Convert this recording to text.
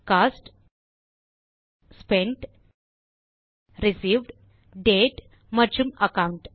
cost spent received date மற்றும் account